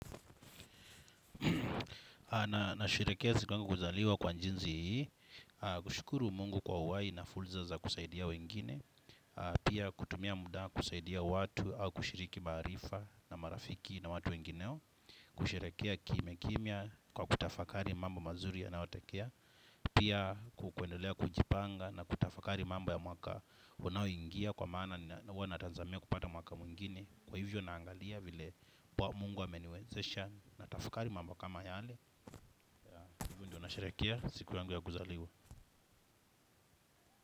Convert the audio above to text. Nasherehekea siku yangu kuzaliwa kwa jinsi hii. Kushukuru mungu kwa uhai na fursa za kusaidia wengine. Pia kutumia muda kusaidia watu. Au kushiriki maarifa na marafiki na watu wengine kusherekea kimya kimya kwa kutafakari mamba mazuri yanayotekea. Pia hupendelea kujipanga na kutafakari mambo ya mwaka unaoingia kwa maana huwanatazamia kupata mwaka mwingine. Kwa hivyo naangalia vile mungu ameniwezesha. Na tafakari mambo kama yale. Hivo ndo nasherekea siku yangu ya guzaliwa.